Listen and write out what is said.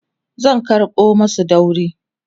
zan karɓo masu dauri